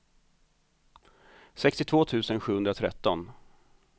sextiotvå tusen sjuhundratretton